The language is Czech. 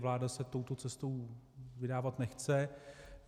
Vláda se touto cestou vydávat nechce.